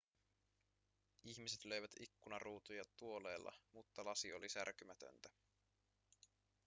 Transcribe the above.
ihmiset löivät ikkunaruutuja tuoleilla mutta lasi oli särkymätöntä